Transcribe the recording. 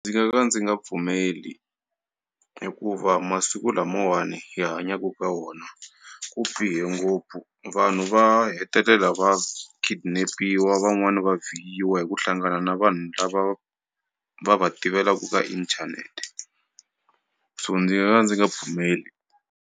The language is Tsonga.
Ndzi nga ka ndzi nga pfumeli hikuva masiku lamawani hi hanyaka ka wona ku bihe ngopfu vanhu va hetelela va kidnap-iwa van'wani va yiyiwa hi ku hlangana na vanhu lava va va tivelaku ka inthanete so ndzi nga ka ndzi nga pfumeli.